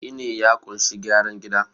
gini ya kunshi gyaran gida